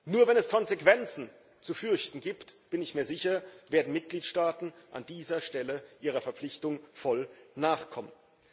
Nur wenn es Konsequenzen zu fürchten gibt da bin ich mir sicher werden Mitgliedstaaten an dieser Stelle ihrer Verpflichtung voll nachkommen.